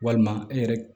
Walima e yɛrɛ